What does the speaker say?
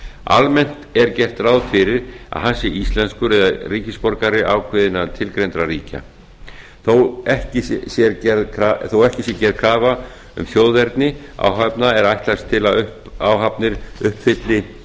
almennt er gert ráð fyrir að hann sé íslenskur eða ríkisborgari ákveðinna tilgreindra ríkja þó ekki sé gerð krafa um þjóðerni áhafna er ætlast til að áhafnir uppfylli